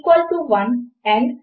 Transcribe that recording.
ఈ క్షణములో అది ఒప్పు అని చెపుతుంది